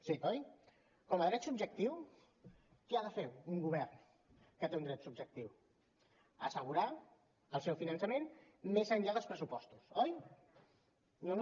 sí oi com a dret subjectiu què ha de fer un govern que té un dret subjectiu assegurar el seu finançament més enllà dels pressupostos oi no no